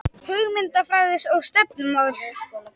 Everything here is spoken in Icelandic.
Hugmyndafræði og stefnumál